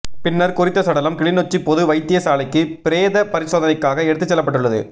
பின்னர் குறித்த சடலம் கிளிநொச்சி பொது வைத்தியசாலைக்கு பிரேத பரிசோதனைக்காக எடுத்துச் செல்லப்பட்டுள்ளது